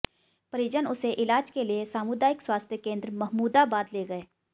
परिजन उसे इलाज के लिए सामुदायिक स्वास्थ्य केंद्र महमूदाबाद ले गए